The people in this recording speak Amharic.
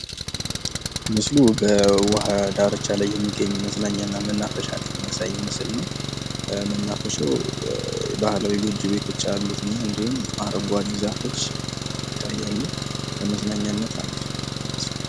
ምስሉ በውሃ ዳርቻ ላይ የሚገኝ መዝናኛና መናፈሻ የሚያሳይ ምስል ነው። መናፈሻው ባህላዊ ጎጆ ቤቶች አሉት እንዲሁም አረንጓዴ ዛፎች ይታያሉ። ለመዝናኛነት አሪፍ ይመስላል።